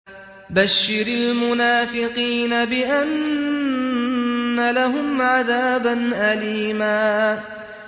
بَشِّرِ الْمُنَافِقِينَ بِأَنَّ لَهُمْ عَذَابًا أَلِيمًا